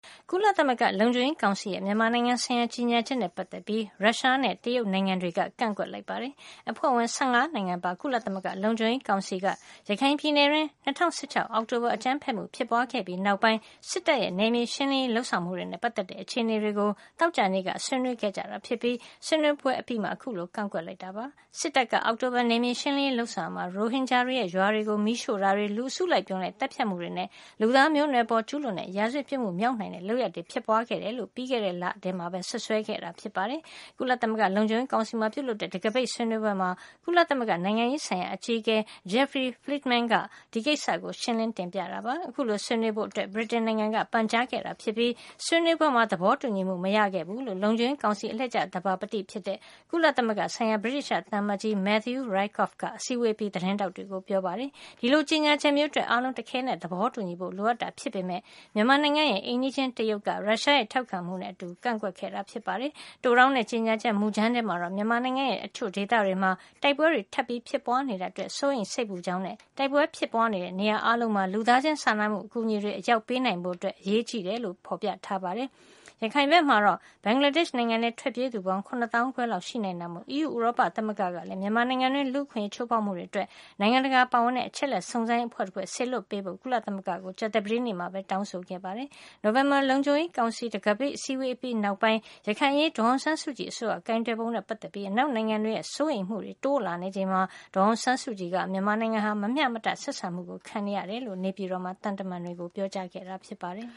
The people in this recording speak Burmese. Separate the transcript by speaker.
Speaker 1: ကုလသမဂ္ဂ လုံခြုံရေးကောင်စီရဲ့ မြန်မာနိုင်ငံဆိုင်ရာ ကြေညာချက်နဲ့ ပတ်သက်ပြီး ရုရှားနဲ့ တရုတ် နိုင်ငံတွေက ကန့်ကွက်လိုက်ပါတယ်။ အဖွဲ့ဝင် ၁၅ နိုင်ငံပါ ကုလသမဂ္ဂ လုံခြုံရေးကောင်စီက ရခိုင်ပြည်နယ်တွင်း ၂၀၁၆ အောက်တိုဘာလ အကြမ်းဖက်မှုဖြစ်ပွါးခဲ့ပြီး နောက်ပိုင်း စစ်တပ်က နယ်မြေရှင်းလင်းရေး လုပ်ဆောင်မှုတွေနဲ့ ပါတ်သက်တဲ့ အခြေနေတွေကို သောကြာနေ့က ဆွေးနွေးခဲ့တာ ဖြစ်ပြီး ဆွေးနွေးပွဲ အပြီးမှာ အခုလို ကန့်ကွက်ခဲ့တာ ဖြစ်ပါတယ်။ စစ်တပ်က အောက်တိုဘာ နယ်မြေရှင်းလင်းရေး လုပ်ဆောင်ရာမှာ ရိုဟင်ဂျာတွေရဲ့ ရွာတွေကို မီးရှို့တာတွေ၊ လူအစုလိုက် အပြုံလိုက် သတ်ဖြတ်မှုတွေနဲ့ လူသားမျိုးနွယ်အပေါ်ကျူးလွန်တဲ့ ရာဇဝတ်ပြစ်မှု မြောက်နိုင်တဲ့ လုပ်ရပ်တွေ ဖြစ်ပွါးခဲ့တယ်လို့ ပြီးခဲ့တဲ့ လထဲမှာပဲ စွပ်စွဲခဲ့တာ ဖြစ်ပါတယ်။ ကုလသမဂ္ဂ လုံခြုံရေးကောင်စီမှာ ပြုလုပ်တဲ့ တံခါးပိတ်ဆွေးနွေးပွဲမှာ ကုလသမဂ္ဂ နိုင်ငံရေးဆိုင်ရာ အကြီးအကဲ Jeffrey Feltman က ဒီကိစ္စကို ရှင်းလင်း တင်ပြခဲ့တာ ဖြစ်ပါတယ်။ အခုလို ဆွေးနွေးဖို့ ဗြိတိန်နိုင်ငံက ပန်ကြားခဲ့တာဖြစ်ပြီး ဆွေးနွေးပွဲမှာ သဘောတူညီမှု မရခဲ့ဘူးလို့ လုံခြုံရေးကောင်စီ အလှည့်ကျ သဘာပတိ ကုလသမဂ္ဂဆိုင်ရာ ဗြိတိသျှ သံအမတ်ကြီး Matthew Rycroft က အစည်းဝေးအပြီး သတင်းထောက်တွေကို ပြောပါတယ်။ ဒီလို ကြေညာချက်မျိုးအတွက် အားလုံး တခဲနက် သဘောတူညီဖို့ လိုအပ်တာ ဖြစ်ပေမယ့် မြန်မာနိုင်ငံရဲ့ အိမ်နီးချင်း တရုတ်က ရုရှားနဲ့ ထောက်ခံမှုနဲ့ အတူ ကန့်ကွက်ခဲ့တာ ဖြစ်ပါတယ်။ တိုတောင်းတဲ့ ကြေညာချက် မူကြမ်းထဲမှာတော့ မြန်မာနိုင်ငံရဲ့ တချို့ဒေသတွေမှာ တိုက်ပွဲတွေ ထပ်မံဖြစ်ပွါးနေတာအတွက် စိုးရိမ် စိတ်ပူကြောင်းနဲ့ တိုက်ပွဲ ဖြစ်ပွါးနေတဲ့ နေရာအားလုံးမှာ လူသားချင်းစာနာမှု အကူညီတွေ အရောက်ပေးနိုင်ဖို့ အရေးကြီးကြောင်း ဖေါ်ပြထားပါတယ်။ ရခိုင်ဘက်မှာတော့ ဘင်္ဂလားဒေ့ရှ် နိုင်ငံထဲ ထွက်ပြေးကြသူ ပေါင်း ၇ သောင်းခွဲလောက် ရှိနိုင်တာမို့ EU ဥရောပ သမဂ္ဂကလည်း မြန်မာနိုင်ငံ တွင်း လူ့အခွင့်ရေး ချိုးဖေါက်မှုတွေအတွက် နိုင်ငံတကာ ပါဝင်တဲ့ အချက်လက် စုံစမ်းရေး အဖွဲ့တဖွဲ့ စေလွှတ်ပေးဖို့ ကုလသမဂ္ဂကို ကြာသပတေးနေ့တုန်းကပဲ တောင်းဆိုခဲ့တာပါ။ နိုဝင်ဘာလ လုံခြုံရေးကောင်စီရဲ့ တံခါးပိတ်အစည်းဝေး နောက်ပိုင်း၊ ရခိုင်အရေး ဒေါ်အောင်ဆန်းစုကြည် အစိုးရရဲ့ ကိုင်တွယ်ပုံနဲ့ ပတ်သက်ပြီး အနောက်နိုင်ငံတွေရဲ့ စိုးရိမ်မှုတွေ တိုးလာနေချိန်မှာ ဒေါ်အောင်ဆန်းစုကြည်က မြန်မာနိုင်ငံဟာ မမျှမတ ဆက်ဆံမှုကို ခံနေရတယ်လို့ နေပြည်တော်မှာ သံတမန်တွေကို ပြောကြားခဲ့တာ ဖြစ်ပါတယ်။